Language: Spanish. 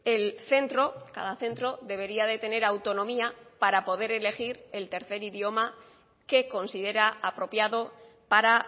el centro cada centro debería de tener autonomía para poder elegir el tercer idioma que considera apropiado para